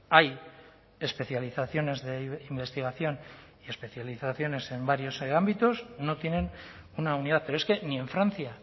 hay especializaciones de investigación especializaciones en varios ámbitos no tienen una unidad pero es que ni en francia